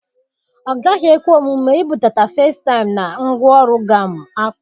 Ọ gaghị ekwe omume ibudata facetime na ngwaọrụ gam akporo.